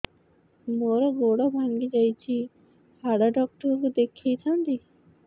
ମୋର ଗୋଡ ଭାଙ୍ଗି ଯାଇଛି ହାଡ ଡକ୍ଟର ଙ୍କୁ ଦେଖେଇ ଥାନ୍ତି